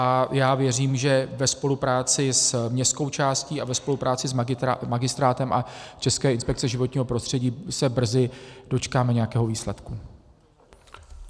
A já věřím, že ve spolupráci s městskou částí a ve spolupráci s magistrátem a Českou inspekcí životního prostředí se brzy dočkáme nějakého výsledku.